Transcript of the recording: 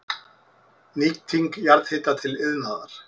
Nýting jarðhita til iðnaðar